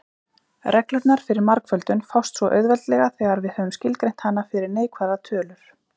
Reglurnar fyrir margföldun fást svo auðveldlega þegar við höfum skilgreint hana fyrir neikvæðar tölur.